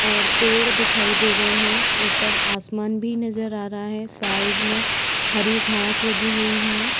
और पेड़ दिखाई दे रहे हैं। ऊपर आसमान भी नजर आ रहा है। साइड में हरी घास भी लगी हुई है।